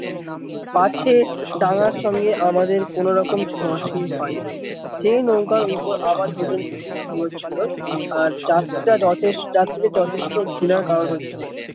কাছে ডাঙ্গার সঙ্গে আমাদের কোনো রকম ছোঁয়া ছুঁই হয় যেই নৌকার ওপর দুজন দিব্বি ঘুমোচ্ছিলো আর যাত্রীদের যথেষ্ট ঘৃণার কারণ হচ্ছিলো।